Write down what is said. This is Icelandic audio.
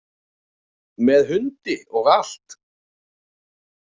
Með hundi og allt.